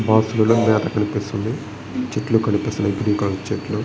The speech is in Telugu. కనిపిస్తుంది. చెట్లు కనిపిస్తున్నాయి. గ్రీన్ కలర్ చెట్లు.